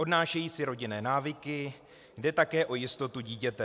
Odnášejí si rodinné návyky, jde také o jistotu dítěte.